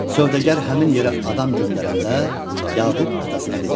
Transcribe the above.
Sövdəgər həmin yerə adam göndərəndə Yaqub atasına dedi: